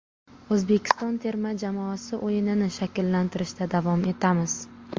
O‘zbekiston terma jamoasi o‘yinini shakllantirishda davom etamiz.